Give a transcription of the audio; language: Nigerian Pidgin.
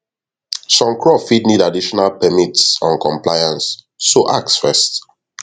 some crop fit need additional permits on compliance so ask first